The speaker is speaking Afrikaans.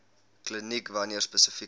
kliniek wanneer spesifieke